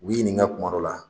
U ɲininka kuma dɔ la